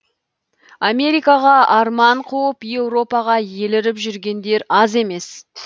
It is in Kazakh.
америкаға арман қуып еуропаға еліріп жүргендер аз емес